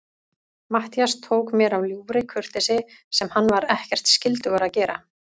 Matthías tók mér af ljúfri kurteisi, sem hann var ekkert skyldugur að gera.